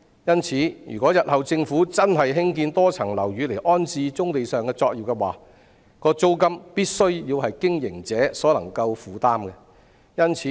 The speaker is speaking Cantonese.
因此，如果政府日後真的興建多層樓宇以安置棕地上的作業，其租金必須是經營者可以負擔的。